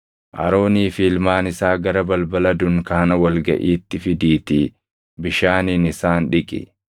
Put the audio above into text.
“Aroonii fi ilmaan isaa gara balbala dunkaana wal gaʼiitti fidiitii bishaaniin isaan dhiqi.